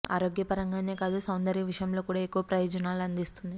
ఆరోగ్య పరంగానే కాదు సౌందర్య విషయంలో కూడా ఎక్కువ ప్రయోజనాలు అందిస్తుంది